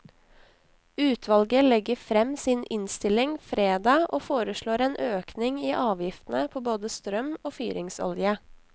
Utvalget legger frem sin innstilling fredag og foreslår en økning i avgiftene på både strøm og fyringsolje.